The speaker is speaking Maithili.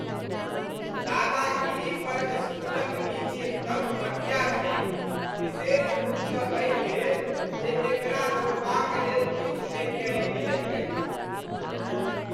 दादागिरी पर स्कूलक नीति एकदम घटिया छैक, विशेष रूपसँ एहिलेल जे एकरा रोकबाक लेल किछु नहि कयल गेलैक अछि।